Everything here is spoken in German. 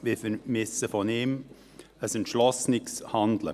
Wir vermissen seinerseits ein entschlossenes Handeln.